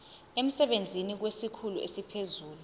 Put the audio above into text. emsebenzini kwesikhulu esiphezulu